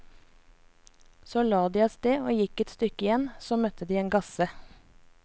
Så la de avsted og gikk et stykke igjen, så møtte de en gasse.